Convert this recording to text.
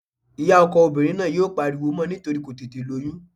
Ìyá ọkọ obìnrin náà yóò pariwo mọ́ nítorí kò tètè lóyún